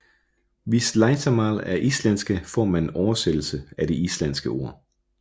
Hvis Leitarmál er íslenska får man en oversættelse af det islandske ord